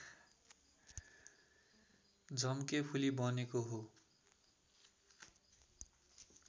झम्केफुली बनेको हो